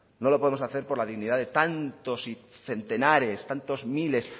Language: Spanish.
no lo podemos hacer por la dignidad de tantos centenares tantos miles